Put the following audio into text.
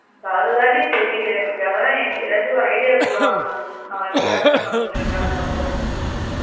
இப்போ அது தான் டி தெரியல எனக்கு அதான் நீ ஏதாச்சும் ஒரு idea குடேன் நாளைக்கு போய்ட்டு இரண்டு நாளக்கு அப்றம்